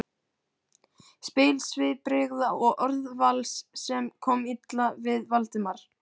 spil svipbrigða og orðavals, sem kom illa við Valdimar.